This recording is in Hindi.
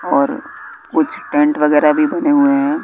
और कुछ टेंट वगैरा भी बने हुए हैं।